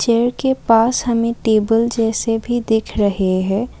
पेड़ के पास हमें टेबल जैसे भी दिख रहे है।